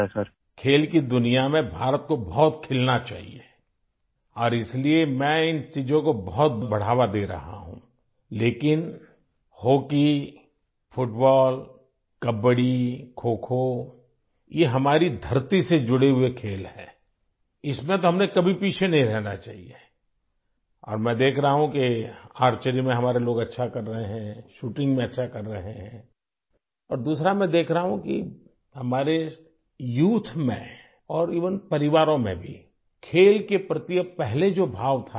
بھارت کو کھیلوں کی دنیا میں بہت کھلنا چاہیے اور اسی لیے میں ان چیزوں کو بہت زیادہ فروغ دے رہا ہوں، لیکن hockey, football, kabaddi, kho kho, یہ ہماری زمین سے جڑے کھیل ہیں، اس میں تو ہمیں کبھی پیچے نہیں رہنا چاہیئے اور میں دیکھ رہا ہوں کہ ہمارے لوگ تیر اندازی میں اچھا کر رہے ہیں، وہ شوٹنگ میں اچھا کر رہے ہیں اور دوسری بات یہ کہ میں دیکھ رہا ہوں کہ ہمارے نوجوانوں اور یہاں تک کہ ہمارے خاندانوں میں بھی کھیلوں کے تئیں وہ جذبہ نہیں ہے ، جو پہلے تھا